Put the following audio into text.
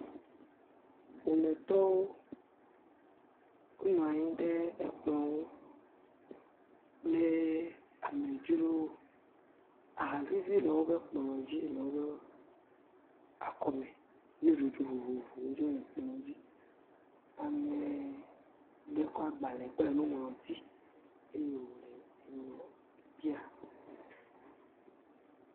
ƒometɔwo wó nu nyi ɖe kplɔŋu kple amedzrowo aha vivi le wóƒe kplɔ̃wo dzi le wóƒe akɔme nuɖuɖu vovovowo tsɛ le kplɔ dzi amewo tsɔ agbale kple nuŋlɔti eye wonɔ bia gbe